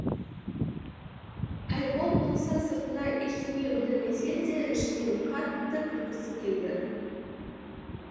айбол болса сыртына ештеңе білдірмесе де ішінен қатты күлкісі келді